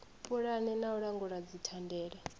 pulana na u langula dzithandela